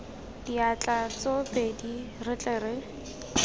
diatla tsoopedi re tle re